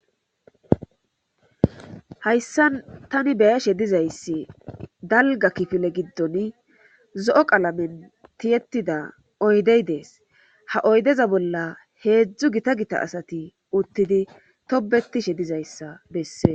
Hayssan tani be7ashe dizayssi dalgga kifile giddoni zo7o qalame tiyettida oydey Des ha oydeza bolla heedzu Gita Gita asati uttidi tobbettishe dizayssa bessees